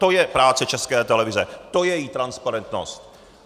To je práce České televize, to je její transparentnost!